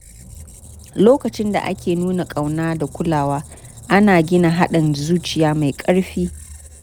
Lokacin da ake nuna kauna da kulawa, ana gina haɗin zuciya mai ƙarfi.